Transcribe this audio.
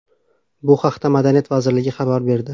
Bu haqda Madaniyat vazirligi xabar berdi .